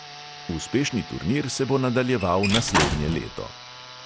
Uspešni turnir se bo nadaljeval naslednje leto.